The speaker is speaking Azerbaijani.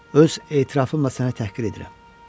Öz etirafımla sənə təhqir edirəm.